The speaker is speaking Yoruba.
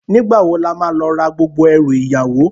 Nigbá wó làmá lò rá gbógbó èrú iyàwó?